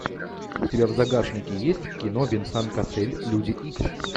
у тебя в загашнике есть кино венсан кассель люди икс